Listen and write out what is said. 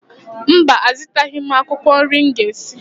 Mba, azụtaghị m akwụkwọ nri m ga-esi